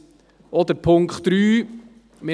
Und auch der Punkt 3: